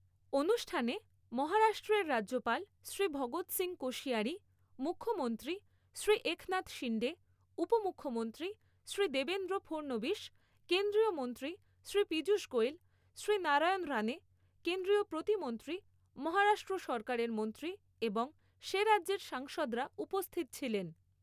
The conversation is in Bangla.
অনুষ্ঠানে মহারাষ্ট্রের রাজ্যপাল শ্রী ভগৎ সিং কোশিয়ারি, মুখ্যমন্ত্রী শ্রী একনাথ শিন্ডে, উপ মুখ্যমন্ত্রী শ্রী দেবেন্দ্র ফড়নবিশ, কেন্দ্রীয় মন্ত্রী শ্রী পীযূষ গোয়েল, শ্রী নারায়ণ রানে, কেন্দ্রীয় প্রতিমন্ত্রী, মহারাষ্ট্র সরকারের মন্ত্রী এবং সে রাজ্যের সাংসদরা উপস্থিত ছিলেন।